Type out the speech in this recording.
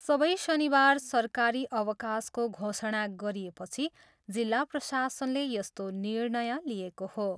सबै शनिवार सरकारी अवकाशको घोषणा गरिएपछि जिल्ला प्रशासनले यस्तो निर्णय लिएको हो।